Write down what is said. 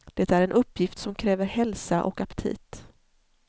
Det är en uppgift som kräver hälsa och aptit.